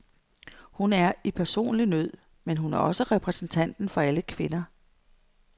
Hun er i personlig nød, men hun er også repræsentanten for alle kvinder.